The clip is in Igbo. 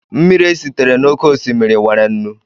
Mmiri esitere n'oké osimiri nwere nnu